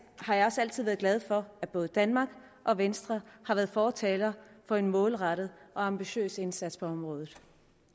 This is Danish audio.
har jeg også altid været glad for at både danmark og venstre har været fortalere for en målrettet og ambitiøs indsats på området